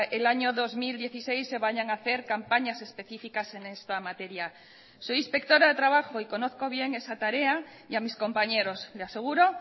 el año dos mil dieciséis se vayan a hacer campañas específicas en esta materia soy inspectora de trabajo y conozco bien esa tarea y a mis compañeros le aseguro